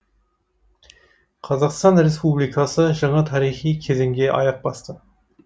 қазақстан республикасы жаңа тарихи кезеңге аяқ басты